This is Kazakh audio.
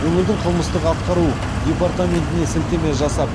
өңірдің қылмыстық атқару департаментіне сілтеме жасап